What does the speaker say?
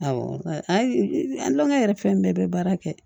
Awɔ ayi an lumu yɛrɛ fɛn bɛɛ bɛ baara kɛ